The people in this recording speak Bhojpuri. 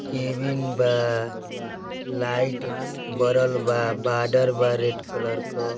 कॅबिन बा लाइट बरल बा। बॉर्डर बा रेड कलर क --